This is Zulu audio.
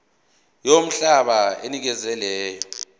yomhlaba onikezwe lelo